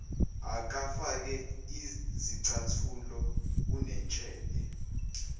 akafake zicathulo unentshebe